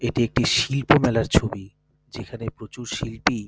এটি একটি শিল্পমেলার ছবি যেখানে প্রচুর শিল্পী ।